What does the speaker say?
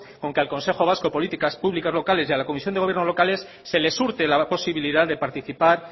con que al consejo vasco de políticas públicas locales y a la comisión de gobierno locales se les hurte la posibilidad de participar